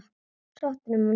Sótt er um á netinu.